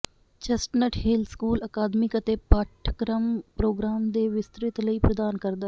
chestnut hill school academic ਅਤੇ ਪਾਠਕ੍ਰਮਪ੍ਰੋਗਰਾਮ ਦੇ ਵਿਸਤ੍ਰਿਤ ਲੜੀ ਪ੍ਰਦਾਨ ਕਰਦਾ ਹੈ